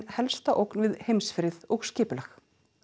helsta ógn við heimsfrið og skipulag